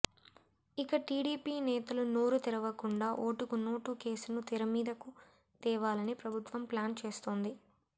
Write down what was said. ఇక టీడీపీ నేతలు నోరు తెరవకుండా ఓటుకు నోటు కేసును తెరమీదకు తేవాలని ప్రభుత్వం ప్లాన్ చేస్తోంది